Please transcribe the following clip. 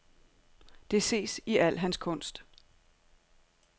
Det ses i al hans kunst.